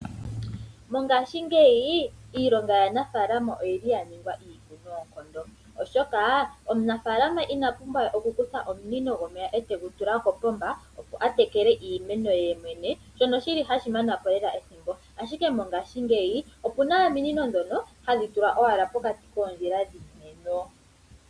Mongaashi ngeyi iilonga yanafalama oyili ya ningwa iipu noonkondo oshoka omunafalama ina pumbwa we okukutha omunino gwomeya etegu tula kopomba opo a tekele iimeno ye shono shili hashi mana po lela ethimbo ashike mongaashi ngeyi opuna ominino ndhono hadhi tulwa owala pokati koondjila dhiimeno.